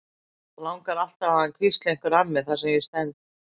Langar alltaf að hann hvísli einhverju að mér þar sem ég stend.